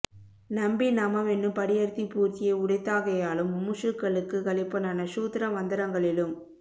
நம்பி நாமம் என்னும் படி அர்த்தி பூர்த்தியை உடைத்தாகையாலும் முமுஷுக்களுக்கு கழிப்பனான ஷூத்ர மந்த்ரங்களிலும்